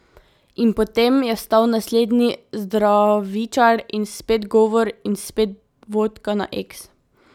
In potem je vstal naslednji zdravičar in spet govor in spet vodka na eks.